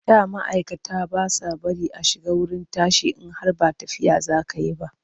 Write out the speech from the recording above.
Da ma'aikata ba sa bari a shiga wurin tashi in har ba tafiya za ka yi ba.